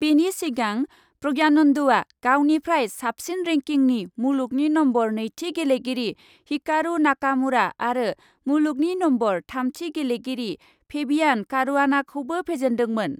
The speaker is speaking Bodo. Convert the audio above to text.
बेनि सिगां प्रज्ञानन्दआ गावनिफ्राय साबसिन रेंकिंनि मुलुगनि नम्बर नैथि गेलेगिरि हिकारु नाकामुरा आरो मुलुगनि नम्बर थामथि गेलेगिरि फेबियान' कारुआनाखौबो फेजेन्दोंमोन।